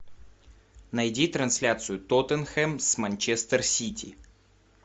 найди трансляцию тоттенхэм с манчестер сити